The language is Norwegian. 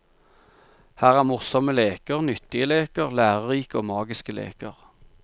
Her er morsomme leker, nyttige leker, lærerike og magiske leker.